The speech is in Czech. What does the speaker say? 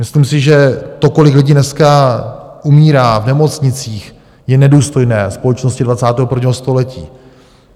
Myslím si, že to, kolik lidí dneska umírá v nemocnicích, je nedůstojné společnosti 21. století.